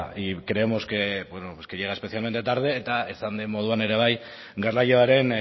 y creemos que bueno pues que llega especialmente tarde eta esan den moduan ere bai garraioaren